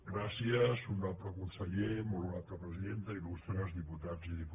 gràcies honorable conseller molt honorable presidenta il·lustres diputats i diputades